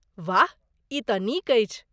वाह, ई तँ नीक अछि।